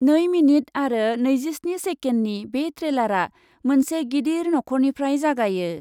नै मिनिट आरो नैजिस्नि सेकेन्डनि बे ट्रेलारआ मोनसे गिदिर नख'रनिफ्राय जागायो ।